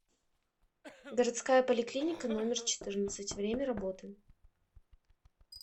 городская поликлиника номер четырнадцать время работы